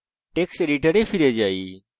text editor ফিরে যান